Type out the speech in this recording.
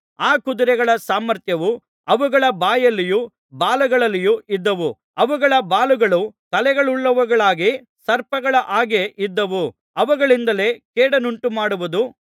ಆ ಕುದುರೆಗಳ ಸಾಮರ್ಥ್ಯವು ಅವುಗಳ ಬಾಯಲ್ಲಿಯೂ ಬಾಲಗಳಲ್ಲಿಯೂ ಇದ್ದವು ಅವುಗಳ ಬಾಲಗಳು ತಲೆಗಳುಳ್ಳವುಗಳಾಗಿ ಸರ್ಪಗಳ ಹಾಗೆ ಇದ್ದವು ಅವುಗಳಿಂದಲೇ ಕೇಡನ್ನುಂಟುಮಾಡುವುದು